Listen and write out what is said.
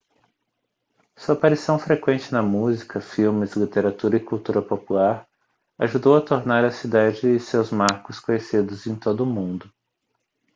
sua aparição frequente na música filmes literatura e cultura popular ajudou a tornar a cidade e seus marcos conhecidos em todo o mundo